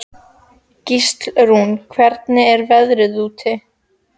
Gíslrún, hvernig er veðrið úti?